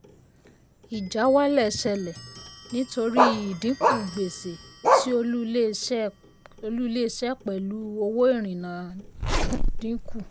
ìjáwálẹ̀ ṣẹlẹ̀ nítorí ìdìnkú gbèsè sí olú ilé iṣẹ́ pẹ̀lú owó ìrìnà dínkù.